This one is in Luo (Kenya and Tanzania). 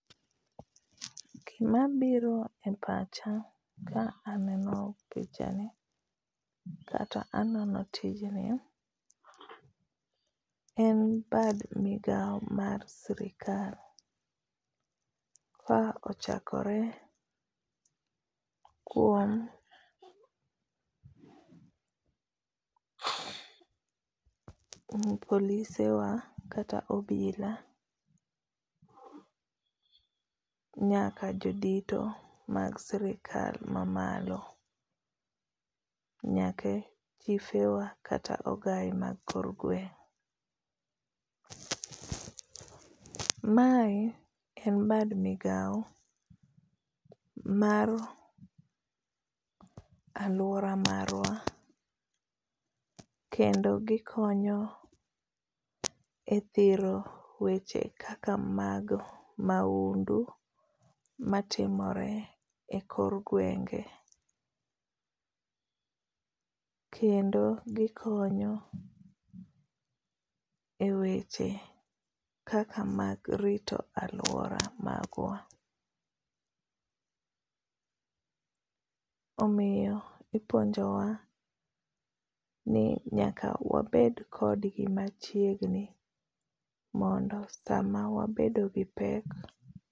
Gima biro e pacha ka aneno pichani kata anono tijni, en bad migao mar sirkal. Ka ochakore kuom police wa kata obila nyaka jodito mag sirkal ma malo. Nyaka chiefe wa kata ogai mag kor gweng'. Mae en bad migao mar alwora marwa kendo gikonyo e thiro weche kaka mag mahundu matimore e kor gwenge. Kendo gikonyo e weche kaka mag rito alwora magwa. Omiyo ipuonjowa ni nyaka wabed kodgi machiegni mondo sama wabedo gi pek.